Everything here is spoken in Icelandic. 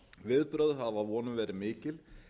viðbrögð hafa að vonum verið mikil